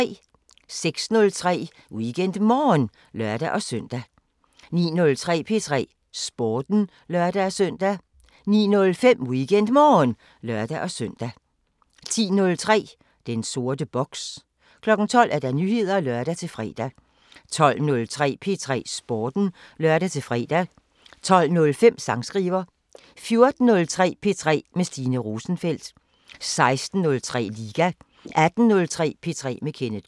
06:03: WeekendMorgen (lør-søn) 09:03: P3 Sporten (lør-søn) 09:05: WeekendMorgen (lør-søn) 10:03: Den sorte boks 12:00: Nyheder (lør-fre) 12:03: P3 Sporten (lør-fre) 12:05: Sangskriver 14:03: P3 med Stine Rosenfeldt 16:03: Liga 18:03: P3 med Kenneth K